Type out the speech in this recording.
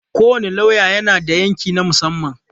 Kowane lauya yana da yanki na musamman.